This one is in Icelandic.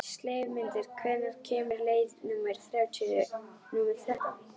slefmundur, hvenær kemur leið númer þrettán?